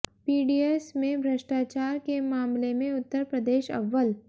PDS में भ्रष्टाचार के मामले में उत्तर प्रदेश अव्वल